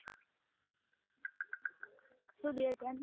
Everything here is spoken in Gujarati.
શું બે હજાર ની